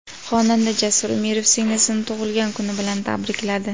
Xonanda Jasur Umirov singlisini tug‘ilgan kuni bilan tabrikladi.